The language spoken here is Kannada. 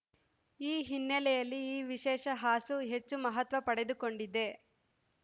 ಈ ಹಿನ್ನೆಲೆಯಲ್ಲಿ ಈ ವಿಶೇಷ ಹಾಸು ಹೆಚ್ಚು ಮಹತ್ವ ಪಡೆದುಕೊಂಡಿದೆ